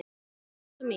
Elsku Elsa mín.